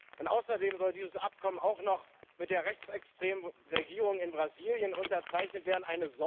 Und außerdem soll dieses Abkommen auch noch mit der rechtsextremen Regierung in Brasilien unterzeichnet werden.